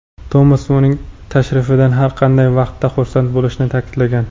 Tomas uning tashrifidan har qanday vaqtda xursand bo‘lishini ta’kidlagan.